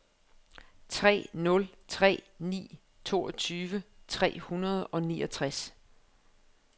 tre nul tre ni toogtyve tre hundrede og niogtres